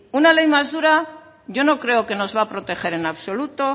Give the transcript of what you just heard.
una ley más dura yo no creo que nos vaya proteger en absoluto